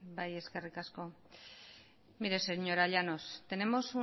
bai eskerrik asko mire señora llanos